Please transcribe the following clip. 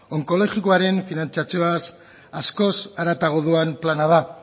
onkologikoaren finantziazioaz askoz haratago doan plana da